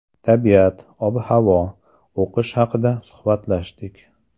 Tabiat, ob-havo, o‘qish haqida suhbatlashdik.